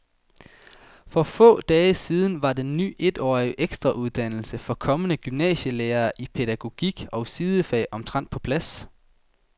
For få dage siden var den ny etårige ekstrauddannelse for kommende gymnasielærere i pædagogik og sidefag omtrent på plads.